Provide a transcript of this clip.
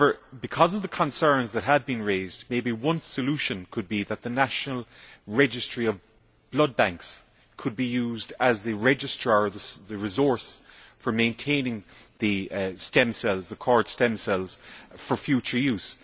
However, because of the concerns that have been raised, maybe one solution could be that the national registry of blood banks could be used as the registrar, the resource, for maintaining the cord stem cells for future use.